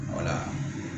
Wala